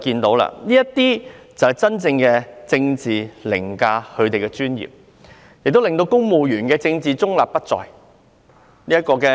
這是真正的政治凌駕專業，令公務員政治中立不再。